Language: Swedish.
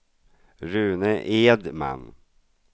Rune Edman